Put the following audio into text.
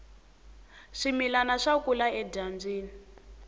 swimilani swa kula edyambyini